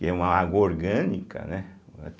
Que é uma água orgânica, né?